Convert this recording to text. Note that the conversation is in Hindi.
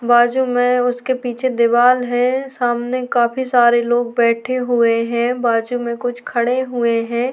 बाजु में उसके पीछे दीवाल है सामने काफी सारे लोग बैठे हुए हैं बाजु में कुछ खड़े हुए हैं।